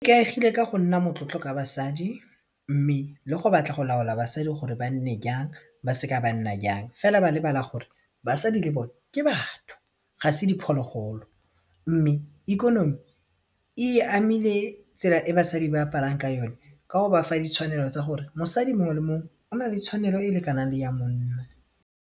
Ikaegile ka go nna motlotlo ka basadi mme le go batla go laola basadi gore ba nne jang ba seka ba nna jang fela ba lebala gore basadi le bone ke batho ga se diphologolo mme ikonomi e amile tsela e basadi ba aparang ka yone ka go bafa ditshwanelo tsa gore mosadi mongwe le mongwe o na le tshwanelo e e lekanang ya monna.